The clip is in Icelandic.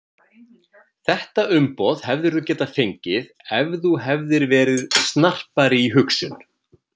Þetta umboð hefðirðu getað fengið ef þú hefðir verið snarpari í hugsun